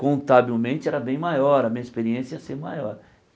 contabilmente era bem maior, a minha experiência ia ser maior.